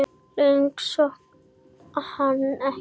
Lengra komst hún ekki.